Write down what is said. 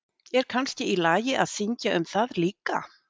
Er kannski í lagi að syngja um það líka?